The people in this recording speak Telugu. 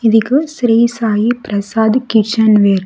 ఇదిగో శ్రీ సాయి ప్రసాద్ కిచెన్ వేర్ .